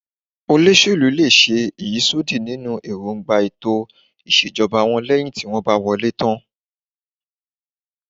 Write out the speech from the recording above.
Olóṣèlú lè ṣe ìyísódì nínú erongba ètò ìṣèjọba wọ́n leyin ti won ba wole tan